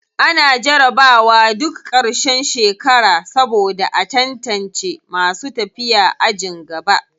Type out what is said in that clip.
Ana jarabawa duk ƙarshen shekara saboda a tantace masu tafiya ajin gaba.